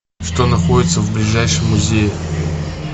что находится в ближайшем музее